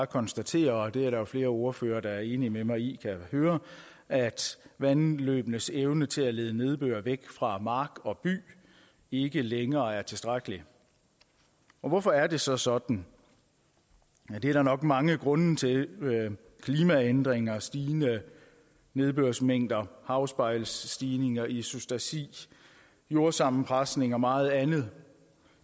konstatere og det er der flere ordførere der er enige med mig i jeg høre at vandløbenes evne til at lede nedbør væk fra mark og by ikke længere er tilstrækkelig hvorfor er det så sådan det er der nok mange grunde til klimaændringer stigende nedbørsmængder havspejlsstigninger isostasi jordsammenpresning og meget andet